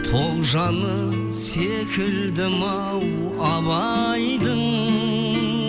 тоғжаны секілдім ау абайдың